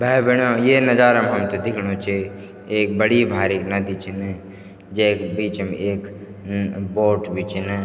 भै भैणियो ये नजारा म हमथे दिख्णु च एक बड़ी भारिक नदी छिन जैक बीचम एक म बोट भी छिन।